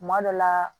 Kuma dɔ la